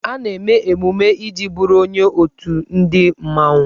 A na-eme emume iji bụrụ onye otù ndị mmanwụ.